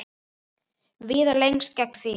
Viðar leggst gegn því.